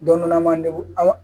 Don dɔ la manden ko aw